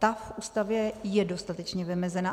Ta v Ústavě je dostatečně vymezena.